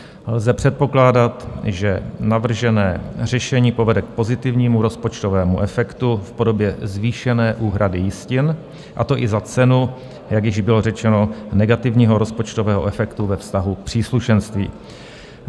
Lze předpokládat, že navržené řešení povede k pozitivnímu rozpočtovému efektu v podobě zvýšené úhrady jistin, a to i za cenu, jak již bylo řečeno, negativního rozpočtového efektu ve vztahu k příslušenství.